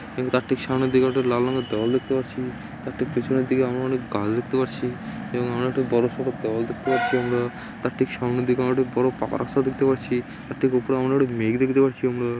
এবং তার ঠিক সামনের দিকে ওটা লাল রঙের দেওয়াল দেখতে পারছি । তার ঠিক পিছনের দিকে আমরা অনেক গাছ দেখতে পারছি। এবং আমরা একটি বড়সড়ো দেওয়াল দেখতে পারছি আমরা। তার ঠিক সামনের দিকে আমরা একটা বড় পাকা রাস্তা দেখতে পারছি। তার ঠিক উপরে একটু মেঘ দেখতে পারছি আমরা।